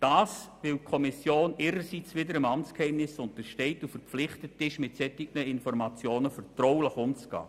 Das ist so, weil die Kommission ihrerseits dem Amtsgeheimnis untersteht und verpflichtet ist, mit solchen Informationen vertraulich umzugehen.